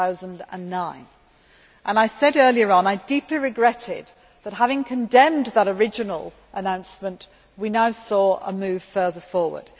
2009. I said earlier on that I deeply regretted that, having condemned that original announcement, we have now seen a move further forward.